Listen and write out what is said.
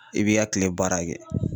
I b'i ka kile baara kɛ